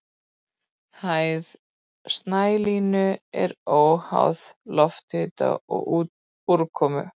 Hæð snælínu er háð lofthita og úrkomu.